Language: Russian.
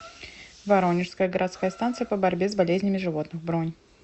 воронежская городская станция по борьбе с болезнями животных бронь